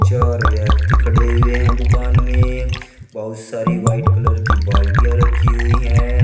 चार व्यक्ति खड़े हुए हैं दुकान में बहुत सारी व्हाइट कलर की बाल्टियां रखी हुई हैं।